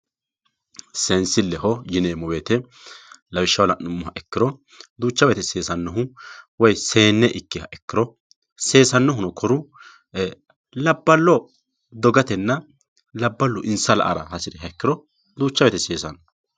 Seensileho yineemmo woyte lawishshaho la'nuummoha ikkiro duucha woyte seessanohu woyi seenne ikkiha ikkiro seessanohunk koru labbalo dogatenna labbalu insa la"ara hasiriha ikkiro duucha woyte seesano.